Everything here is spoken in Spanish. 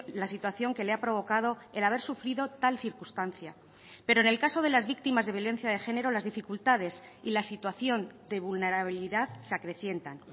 la situación que le ha provocado el haber sufrido tal circunstancia pero en el caso de las víctimas de violencia de género las dificultades y la situación de vulnerabilidad se acrecientan